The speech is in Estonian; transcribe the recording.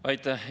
Aitäh!